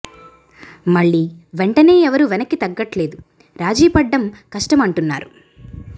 మళ్ళీ వెంటనే ఎవరూ వెనక్కి తగ్గట్లేదు రాజీ పడడం కష్టం అంటున్నారు